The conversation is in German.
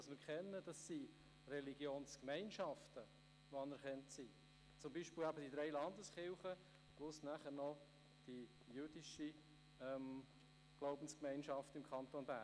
Wir kennen einzig Religionsgemeinschaften, die anerkannt sind, beispielsweise die drei Landeskirchen und die jüdische Glaubensgemeinschaft im Kanton Bern.